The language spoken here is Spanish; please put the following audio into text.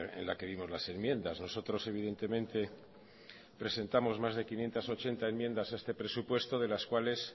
en la que vimos las enmiendas nosotros evidentemente presentamos más de quinientos ochenta enmiendas a este presupuesto de las cuales